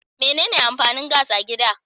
Mene ne amfanin gas a gida?